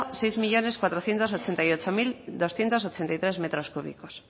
seis millónes cuatrocientos ochenta y ocho mil doscientos ochenta y tres metros cúbicos